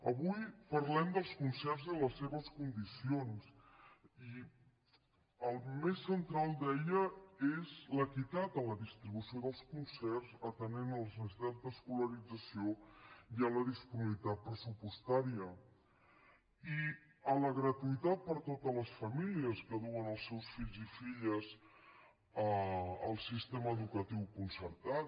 avui parlem dels concerts i les seves condicions i el més central deia és l’equitat en la distribució dels concerts atenent les necessitats d’escolarització i la disponibilitat pressupostària i la gratuïtat per a totes les famílies que duen els seus fills i filles al sistema educatiu concertat